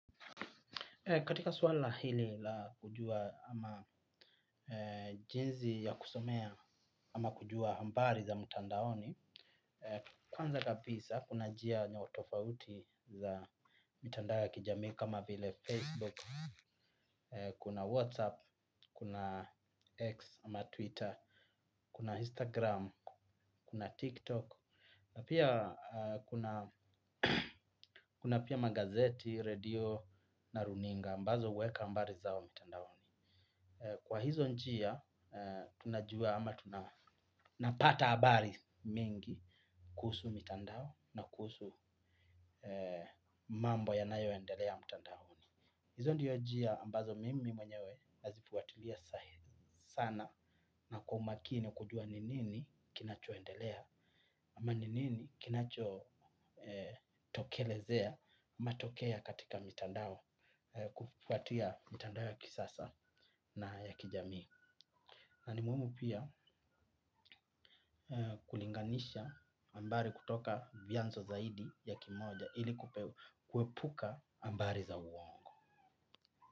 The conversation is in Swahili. Katika swala hili la kujua ama jinsi ya kusomea ama kujua habari za mtandaoni, kwanza kabisa kuna njia na utofauti za mitandao ya kijamii kama vile Facebook, kuna Whatsapp kuna X ama Twitter kuna Instagram kuna Tik tok na pia kuna pia magazeti redio na runinga ambazo huweka habari zao mtandaoni. Kwa hizo njia, tunajua ama tunapata habari mingi kuhusu mitandao na kuhusu mambo yanayo endelea mtandaoni. Hizo ndiyo njia ambazo mimi mwenyewe nazifuatilia sahizi sana na kwa umakini kujua ni nini kinacho endelea. Ama ni nini kinacho tokelezea matokea katika mitandao kufuatia mtandao ya kisasa na ya kijami. Na nimuhimu pia kulinganisha habari kutoka vyanzo zaidi ya kimoja ili kuepuka habari za uongo.